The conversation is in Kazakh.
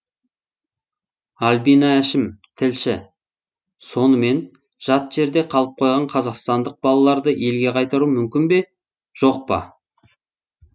альбина әшім тілші сонымен жат жерде қалып қойған қазақстандық балаларды елге қайтару мүмкін бе жоқ па